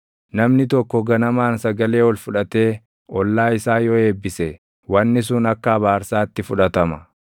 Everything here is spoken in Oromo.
Namni tokko ganamaan sagalee ol fudhatee // ollaa isaa yoo eebbise wanni sun akka abaarsaatti fudhatama.